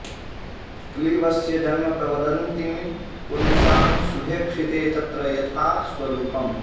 क्लीवस्य जन्म प्रवदन्ति पुंसां शुभेक्षिते तत्र यथा स्वरूपम्